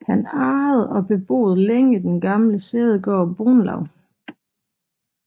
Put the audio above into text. Han ejede og beboede længe den gamle sædegård Brunlav